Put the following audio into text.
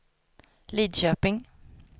Lidköping